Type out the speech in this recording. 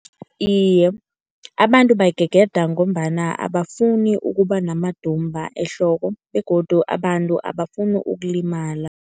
Iye, abantu bayigegeda ngombana abafuni ukuba namadumba ehloko begodu abantu abafuni ukulimala.